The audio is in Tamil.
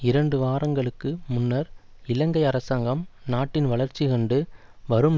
இரண்டு வாரங்களுக்கு முன்னர் இலங்கை அரசாங்கம் நாட்டின் வளர்ச்சி கண்டு வரும்